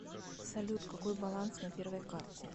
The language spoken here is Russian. салют какой баланс на первой карте